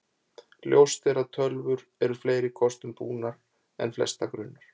Ljóst er að tölvur eru fleiri kostum búnar en flesta grunar.